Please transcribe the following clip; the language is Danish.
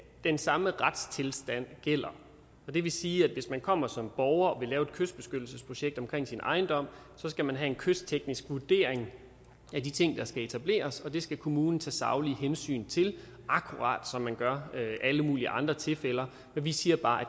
den samme retstilstand gælder og det vil sige at hvis man kommer som borger og vil lave et kystbeskyttelsesprojekt omkring sin ejendom skal man have en kystteknisk vurdering af de ting der skal etableres og det skal kommunen tage saglige hensyn til akkurat som man gør i alle mulige andre tilfælde men vi siger bare at